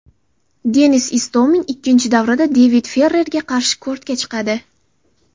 Denis Istomin ikkinchi davrada David Ferrerga qarshi kortga chiqadi.